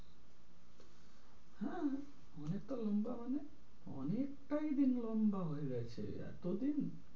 হাঁ মানে তো লম্বা মানে অনেক টাই দিন লম্বা হয়ে গেছে এতো দিন?